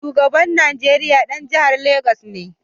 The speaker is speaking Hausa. Shugaban Nigeriya ɗan jihar Legas ne